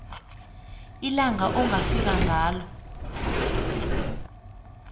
ilanga ongafika ngalo